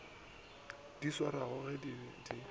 di swarwago ga di be